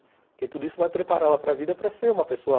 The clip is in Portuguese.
Porque tudo isso vai prepará-la para vida para ser uma pessoa